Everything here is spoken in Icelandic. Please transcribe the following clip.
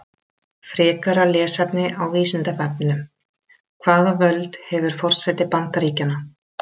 Frekara lesefni á Vísindavefnum: Hvaða völd hefur forseti Bandaríkjanna?